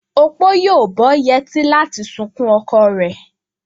Opo yóò bó yetí láti sunkún oko ree.